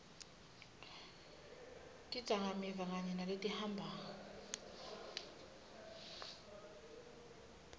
tidzakamiva kanye naletihamba